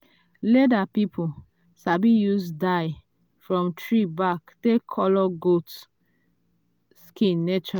leather people sabi use dye from tree bark take colour goat skin